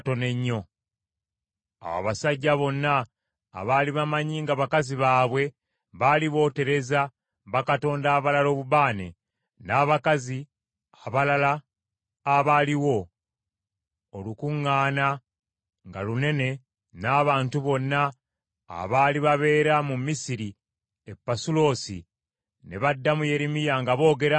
Awo abasajja bonna abaali bamanyi nga bakazi baabwe baali bootereza bakatonda abalala obubaane, n’abakazi abalala abaaliwo, olukuŋŋaana nga lunene n’abantu bonna abaali babeera mu Misiri e Pasuloosi, ne baddamu Yeremiya nga boogera nti,